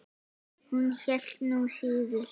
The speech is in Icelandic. Hún hélt nú síður.